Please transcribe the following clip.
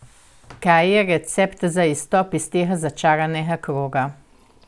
Kaj je recept za izstop iz tega začaranega kroga?